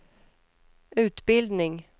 utbildning